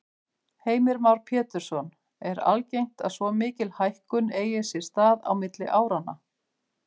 Heimir Már Pétursson: Er algengt að svo mikil hækkun eigi sér stað á milli áranna?